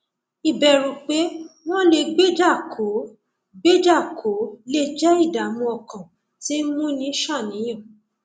ìbẹrù pé wọn lè gbéjà kò ó gbéjà kò ó lè jẹ ìdààmú ọkàn tí ń múni ṣàníyàn